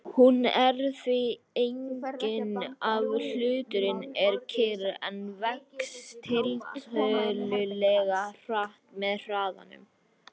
Hún er því engin ef hluturinn er kyrr en vex tiltölulega hratt með hraðanum.